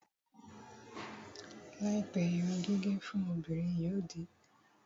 Láìpẹ́, irun gígẹ̀ fún obìnrin yóò di